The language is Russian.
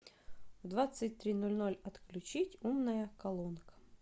в двадцать три ноль ноль отключить умная колонка